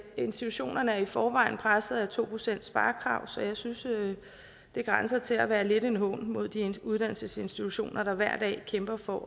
institutionerne er i forvejen presset af to procentssparekravet så jeg synes det grænser til at være lidt en hån mod de uddannelsesinstitutioner der hver dag kæmper for